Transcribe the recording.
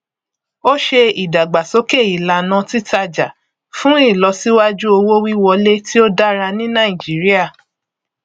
ó ṣe ìdàgbàsókè ìlànà titájà fún ìlọsíwájú owówíwọlé tí ó dára ní nàìjíríà